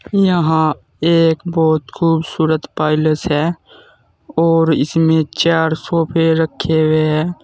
यहां एक बहोत खूबसूरत पैलेस है और इसमें चार सोफे रखे हुए है।